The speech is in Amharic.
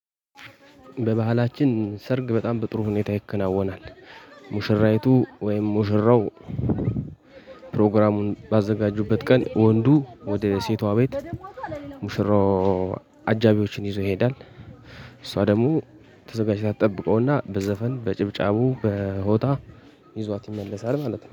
በባህላችን ሰርግ በጣም በጥሩ ሁኔታ ይከናወናል። ሙሽራይቱ ወይም ሙሽራው። ፕሮግራሙን ባዘጋጁበት ቀን ወንዱ ወደ ሴቷ ቤት። ሙሽራው አጃቢዎችን ይዞ ይሄዳል። እሷ ደግሞ ተዘጋጅ ታጠብቀውና በዘፈን በጭብጫቡ በሆታ። ይዟት ይመለሳል ማለት ነው